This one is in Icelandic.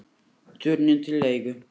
Turninn til leigu